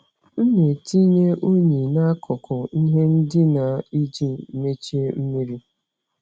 M na-etinye unyi n'akụkụ ihe ndina iji michaa mmiri.